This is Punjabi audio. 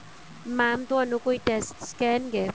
mam ਤੁਹਾਨੂੰ ਕੋਈ tests ਕਹਿਣ ਗਏ